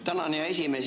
Tänan, hea esimees!